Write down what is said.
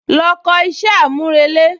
Lọ kọ iṣẹ́ àmúrelé